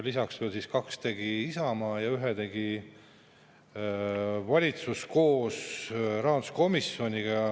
Lisaks tegi veel kaks Isamaa ja ühe tegi valitsus koos rahanduskomisjoniga.